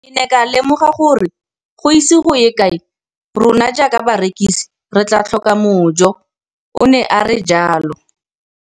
Ke ne ka lemoga gore go ise go ye kae rona jaaka barekise re tla tlhoka mojo, o ne a re jalo.